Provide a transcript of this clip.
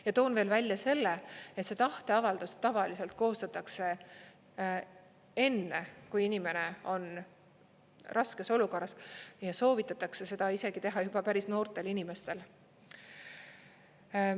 Ja toon veel välja selle, et see tahteavaldus tavaliselt koostatakse enne, kui inimene on raskes olukorras, ja soovitatakse seda isegi teha juba päris noortel inimestel.